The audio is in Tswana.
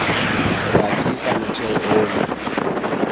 o tla tiisa motheo ono